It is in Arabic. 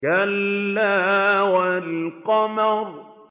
كَلَّا وَالْقَمَرِ